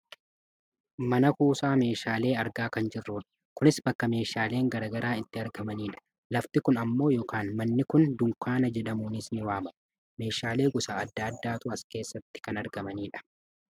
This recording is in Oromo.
mana kuusaa meeshalee argaa kan jirrudha. kunis bakka meeshaaleen gara garaa itti gurguramanidha. lafti kun ammoo yookaan manni kun dunkaana jedhamuunis ni waammama. meeshaalee gosa adda addaatu as keessatti kan argamudha.